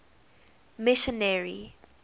missionary